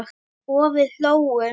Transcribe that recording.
Og við hlógum.